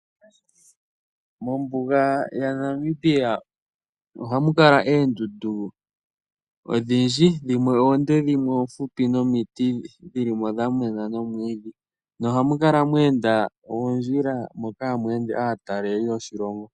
Mombuga yaNamibia ohamu kala oondundu odhindji. Dhimwe oonde dhimwe oofupi nomiti dhi li mo dha mena nomwiidhi nohamu kala mwe enda oondjila moka hamu ende aatalelipo yoshilongo.